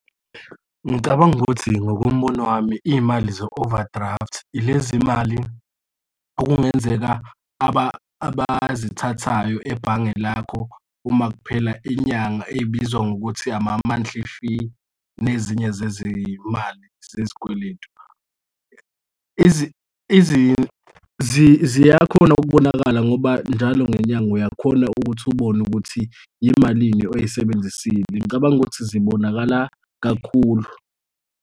Ngicabanga ukuthi ngokombono wami, iy'mali ze-overdraft ilezi izimali okungenzeka abazithathayo ebhange lakho uma kuphela inyanga ey'bizwa ngokuthi ama-monthly fee nezinye zezimali zezikweletu. Ziyakhona ukubonakala ngoba njalo ngenyanga uyakhona ukuthi ubone ukuthi yimalini oyisebenzisile. Ngicabanga ukuthi zibonakala kakhulu.